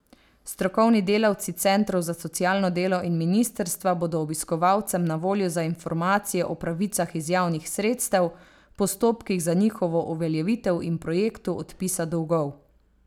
Strokovni delavci centrov za socialno delo in ministrstva bodo obiskovalcem na voljo za informacije o pravicah iz javnih sredstev, postopkih za njihovo uveljavitev in projektu odpisa dolgov.